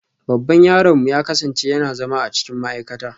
Babban yaronmu ya kasance yana zama a cikin ma'aikata